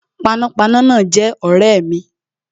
Panápaná náà jé ọ̀rẹ́ mi